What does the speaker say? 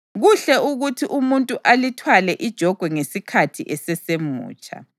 Kuhle ukuthi umuntu alithwale ijogwe ngesikhathi esesemutsha.